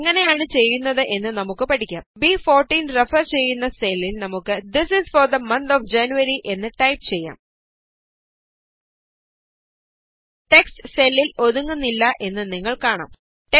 ഇത് എങ്ങനെയാണ് ചെയ്യുന്നത് എന്ന് നമുക്ക് പഠിക്കാം ബ്14 റഫര് ചെയ്യുന്ന സെല്ലില് നമുക്ക് this is for the month of January എന്ന് ടൈപ് ചെയ്യാംgt ടെക്സ്റ്റ് സെല്ലില് ഒതുങ്ങുന്നില്ല എന്ന് നിങ്ങള് കാണുന്നു